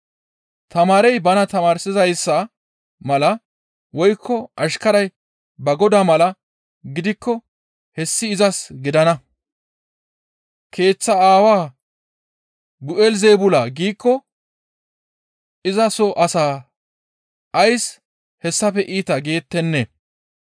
Tamaarey bana tamaarsizayssa mala woykko ashkaray ba godaa mala gidikko hessi izas gidana. Keeththa aawa, ‹Bi7elizeebula› giikko iza soo asaa ays hessafe iita geetenne!